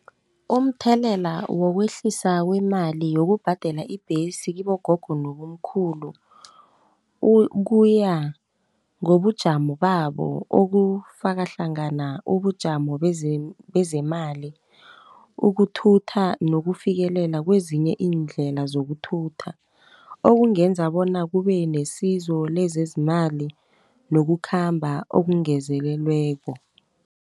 Umthelela wokwehlisa kwemali yokubhadela ibhesi kibogogo nobomkhulu . Ukuya ngobujamo babo okufaka hlangana ubujamo bezemali, ukuthutha nokufikelela kwezinye iindlela zokuthutha. Okungenza bona kubenesizo lezezimali, nokukhamba okungezelelweko.